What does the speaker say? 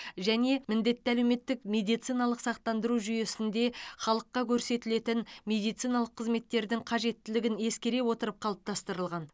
және міндетті әлеуметтік медициналық сақтандыру жүйесінде халыққа көрсетілетін медициналық қызметтердің қажеттілігін ескере отырып қалыптастырылған